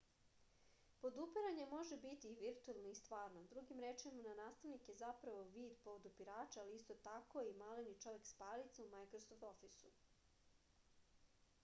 podupiranje može biti i virtuelno i stvarno drugim rečima nastavnik je zapravo vid podupirača ali isto tako i maleni čovek-spajalica u majkrosoft ofisu